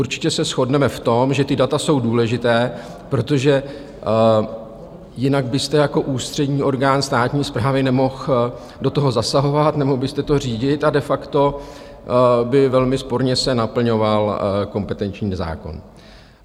Určitě se shodneme v tom, že ta data jsou důležitá, protože jinak byste jako ústřední orgán státní správy nemohl do toho zasahovat, nemohl byste to řídit a de facto by velmi sporně se naplňoval kompetenční zákon.